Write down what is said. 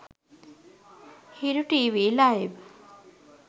hiru tv live